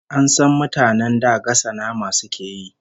An san mutanen da gasa nama suke yi